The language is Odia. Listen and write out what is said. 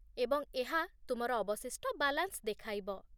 ଏବଂ ଏହା ତୁମର ଅବଶିଷ୍ଟ ବାଲାନ୍ସ ଦେଖାଇବ